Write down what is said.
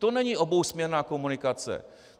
To není obousměrná komunikace.